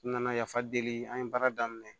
N nana yafa deli an ye baara daminɛ